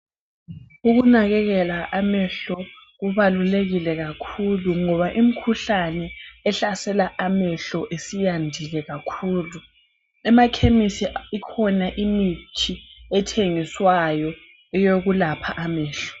Ukunakekela amehlo kubalulekile kakhulu ngoba imikhuhlane ehlasela amehlo isiyandile kakhulu emakhemisi ikhona imithi ethengiswayo eyokulapha amehlo